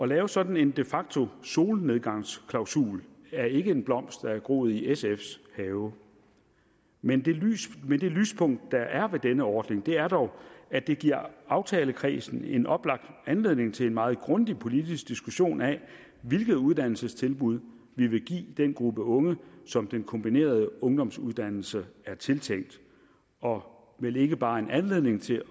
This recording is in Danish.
lave sådan en de facto solnedgangsklausul er ikke en blomst der er groet i sfs have men men det lyspunkt der er ved denne ordning er dog at det giver aftalekredsen en oplagt anledning til en meget grundig politisk diskussion af hvilket uddannelsestilbud vi vil give den gruppe unge som den kombinerede ungdomsuddannelse er tiltænkt og vel ikke bare en anledning til